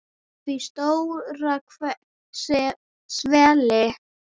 Því stóra svelli.